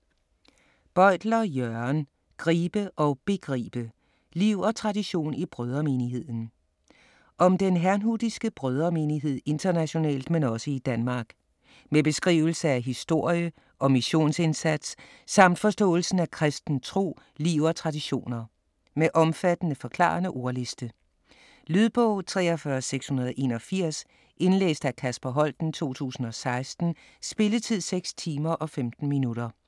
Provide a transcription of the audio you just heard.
Bøytler, Jørgen: Gribe og begribe: liv og tradition i Brødremenigheden Om den herrnhutiske Brødremenighed internationalt men også i Danmark. Med beskrivelse af historie og missionsindsats, samt forståelsen af kristen tro, liv og traditioner. Med omfattende, forklarende ordliste. Lydbog 43681 Indlæst af Kasper Holten, 2016. Spilletid: 6 timer, 15 minutter.